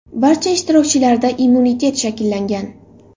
Barcha ishtirokchilarda immunitet shakllangan.